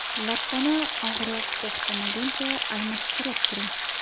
Lattani og‘riq to‘xtamaguncha almashtirib turing.